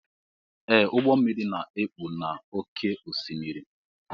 Ee ụgbọ mmiri na ekpu n'ókè osimiri.